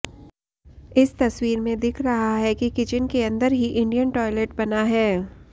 इस तस्वीर में दिख रहा है कि किचन के अंदर ही इंडियन टॉयलेट बना है